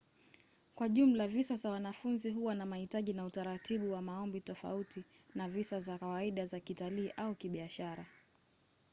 kwa jumla visa za wanafunzi huwa na mahitaji na utaratibu wa maombi tofauti na visa za kawaida za kitalii au kibiashara